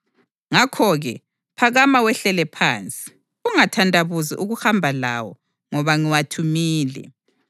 Ngakho-ke, phakama wehlele phansi. Ungathandabuzi ukuhamba lawo, ngoba ngiwathumile.”